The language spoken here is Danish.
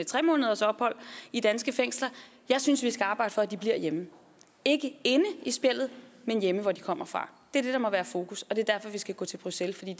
tre månedersophold i danske fængsler jeg synes vi skal arbejde for at de bliver hjemme ikke inde i spjældet men hjemme hvor de kommer fra det er det der må være i fokus og det er derfor vi skal gå til bruxelles for det